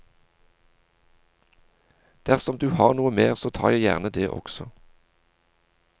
Dersom du har noe mer så tar jeg gjerne det også.